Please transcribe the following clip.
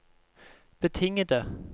betingede